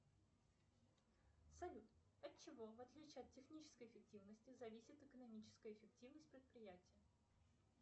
салют от чего в отличие от технической эффективности зависит экономическая эффективность предприятия